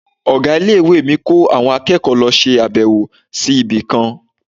Ọ̀gá ilé-ìwé ọmọ mi ko àwọn akẹ́kọ̀ọ́ lọ ṣe abewo sí ibi kan.